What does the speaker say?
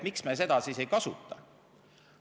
Miks me seda siis ei kasuta?